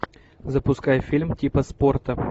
запускай фильм типа спорта